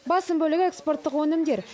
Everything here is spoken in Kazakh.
басым бөлігі экспорттық өнімдер